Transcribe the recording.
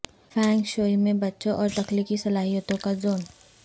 FAANG shui میں بچوں اور تخلیقی صلاحیتوں کا زون